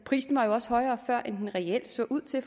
prisen var også højere før end den reelt så ud til at